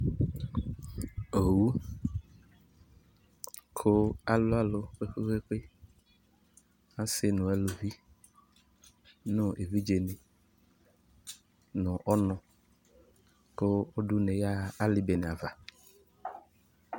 Owu kʋ alʋ alʋ kpekpekpe, asi nʋ aluvi nʋ evidzeni nʋ ɔnʋ Kʋ ɔdʋ une yaha ali bene ava